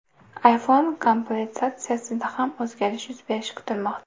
iPhone komplektatsiyasida ham o‘zgarish yuz berishi kutilmoqda.